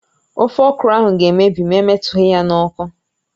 Ofe okro ahụ ga-emebi mà emetughi ya n'ọkụ